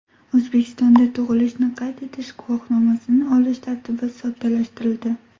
O‘zbekistonda tug‘ilishni qayd etish guvohnomasini olish tartibi soddalashtirildi.